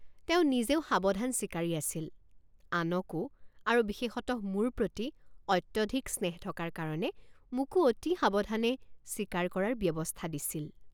তেওঁ নিজেও সাৱধান চিকাৰী আছিল আনকো আৰু বিশেষতঃ মোৰ প্ৰতি অত্যধিক স্নেহ থকাৰ কাৰণে মোকো অতি সাৱধানে চিকাৰ কৰাৰ ব্যৱস্থা দিছিল।